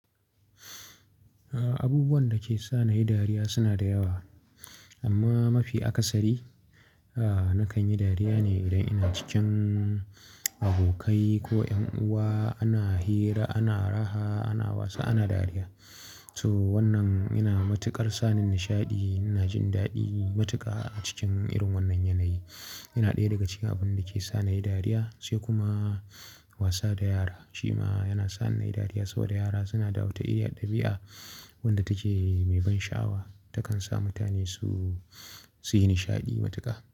Abubuwan da ke sa na yi dariya suna da yawa amma mafi akasari, aa na kan yi dariya ne idan ina cikin abokai ko 'yan uwa ana hira, ana raha, ana wasa, ana dariya. So wannan yana matuƙar sa ni nishaɗi. Na jin daɗi matuƙa a cikin irin wannan yanayi. Yana ɗaya daga cikin abin da ke sa na yi dariya, sai kuma wasa da yara. Shima yana sa ni na yi dariya saboda yara suna da wata irin ɗabi'a wadda take mai ban sha'awa. Ta kan sa mutane su, suyi nishaɗi matuƙa.